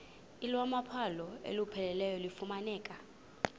iwamaqhalo olupheleleyo lufumaneka